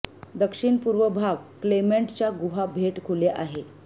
दक्षिण पूर्व भाग क्लेमेंट च्या गुहा भेट खुले आहे